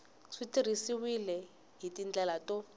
swi tirhisiwile hi tindlela to